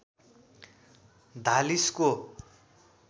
धालिसको